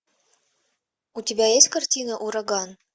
у тебя есть картина ураган